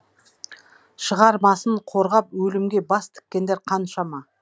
шығармасын қорғап өлімге бас тіккендер қаншама